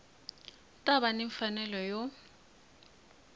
ta va ni mfanelo yo